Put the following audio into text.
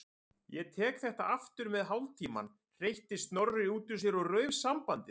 Ég tek þetta aftur með hálftímann- hreytti Snorri út úr sér og rauf sambandið.